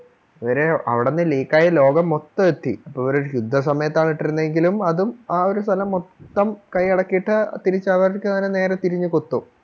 ഇവരെ അവിടുന്ന് leak ക്കായി ലോകം മൊത്തം എത്തി അപ്പോൾ ഇവര് ശുദ്ധ സമയത്താണ് ഇട്ടിരുന്നെങ്കിലും ആ ഒരു സ്ഥലം മൊത്തം കയ്യടക്കിയിട്ട് തിരിച്ചു അവർക്ക് നേരെ തിരിഞ്ഞു കൊത്തും